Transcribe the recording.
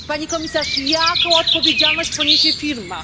Pani Komisarz, jaką odpowiedzialność poniesie firma?